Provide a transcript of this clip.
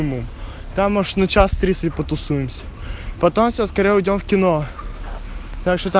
ему там муж на час тридцать потусуемся потом скоро увидим кино так что